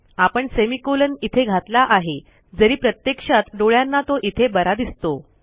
आपण सेमिकोलॉन इथे घातला आहे जरी प्रत्यक्षात डोळ्यांना तो इथे बरा दिसतो